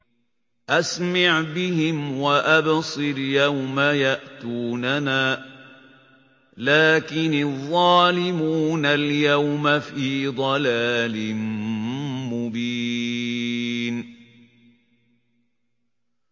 أَسْمِعْ بِهِمْ وَأَبْصِرْ يَوْمَ يَأْتُونَنَا ۖ لَٰكِنِ الظَّالِمُونَ الْيَوْمَ فِي ضَلَالٍ مُّبِينٍ